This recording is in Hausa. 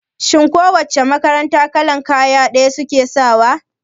Shin ko wace makaranta kalan kaya ɗaya suke sawa?